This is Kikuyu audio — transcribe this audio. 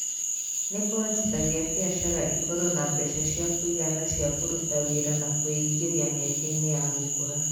Nĩ kũhotithagia biacara ĩkorũo na mbeca cia kũigana cia kũruta wĩra na kwĩingĩria mĩeke-inĩ ya gũkũra.